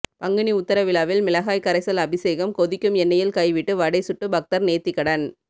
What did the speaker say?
பங்குனி உத்திர விழாவில் மிளகாய் கரைசல் அபிஷேகம் கொதிக்கும் எண்ணெய்யில் கைவிட்டு வடை சுட்டு பக்தர் நேர்த்திக்கடன்